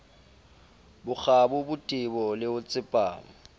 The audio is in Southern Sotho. bokgabo botebo le ho tsepama